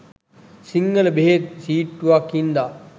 සිංහල බෙහෙත් සීට්ටුවක් හින්ද